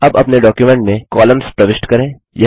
अब अपने डॉक्युमेंट में कॉलम्स प्रविष्ट करें